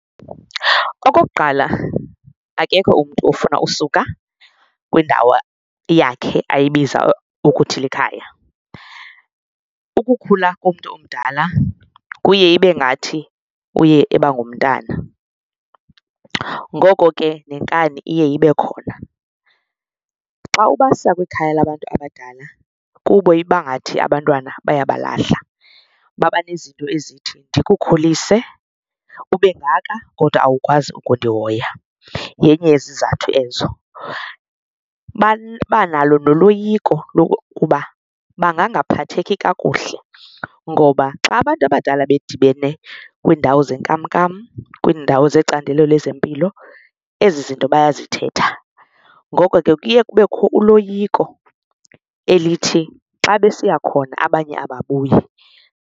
Okokuqala, akekho umntu ofuna usuka kwindawo yakhe ayibiza ukuthi likhaya, ukukhula komntu omdala kuye ibe ngathi uye eba ngumntana ngoko ke nenkani iye ibe khona. Xa ubasa kwikhaya labantu abadala kubo iba ngathi abantwana bayabalahla babanezinto ezithi ndikukhulise ube kangaka kodwa awukwazi ukundihoya yenye yezizathu ezo. Babanalo noloyiko lokuba bangangaphatheki kakuhle ngoba xa abantu abadala bedibene kwiindawo zenkamnkam kwiindawo zecandelo lezempilo ezi zinto bayazithetha, ngoko ke kuye kubekho uloyiko elithi xa besiya khona abanye ababuyi.